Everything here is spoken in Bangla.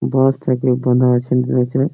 বাঁশ থেকে বোনা আছে ।